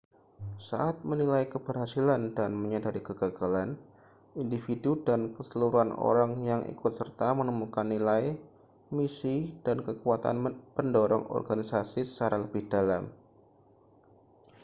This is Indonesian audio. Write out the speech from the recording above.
saat menilai keberhasilan dan menyadari kegagalan individu dan keseluruhan orang yang ikut serta menemukan nilai misi dan kekuatan pendorong organisasi secara lebih dalam